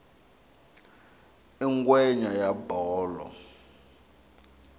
i ngwenya ya bolo